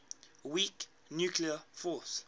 weak nuclear force